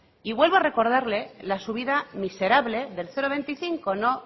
y vuelvo a recordarle la subida miserable del cero coma veinticinco no